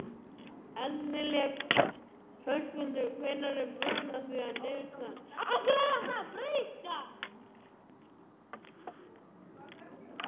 Eldlilja, hvenær kemur vagn númer tuttugu?